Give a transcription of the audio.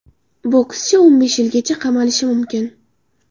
Bokschi o‘n besh yilgacha qamalishi mumkin.